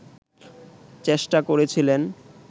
চেষ্টা করেছিলেন